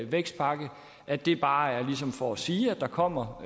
vækstpakke at det bare er ligesom for at sige at der kommer